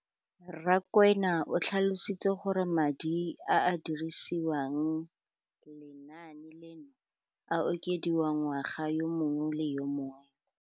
Rakwena o tlhalositse gore madi a a dirisediwang lenaane leno a okediwa ngwaga yo mongwe le yo mongwe go tsamaelana le.